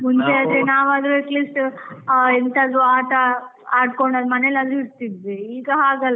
ಮುಂಚೆ ನಾವು ಆದ್ರೆ at least ಹ ಎಂತಾದ್ರೂ ಆಟ ಆಡ್ಕೊಂಡ್, ಮನೆ ಅಲ್ಲಿ ಇರ್ತಿದ್ವಿ ಈಗ ಹಾಗಲ್ಲ.